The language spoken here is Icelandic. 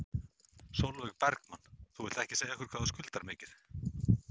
Sólveig Bergmann: Þú vilt ekki segja okkur hvað skuldir mikið?